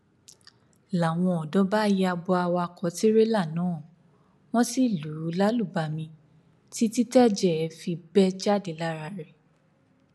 làwọn ọdọ bá ya bo awakọ tìrẹlà náà wọn sì lù ú lálùbami títí tẹjẹ fi bẹ jáde lára rẹ